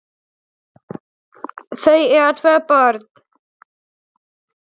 Þau eiga tvö börn.